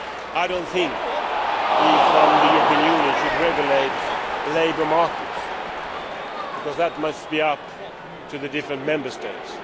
I do not think we, from the European Union, should regulate labour markets, because that must be left up to the different Member States.